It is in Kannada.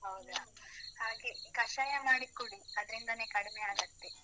ಹೌದಾ? ಹಾಗೆ ಕಷಾಯ ಮಾಡಿ ಕುಡಿ. ಅದ್ರಿಂದಾನೇ ಕಡಿಮೆ ಆಗತ್ತೆ.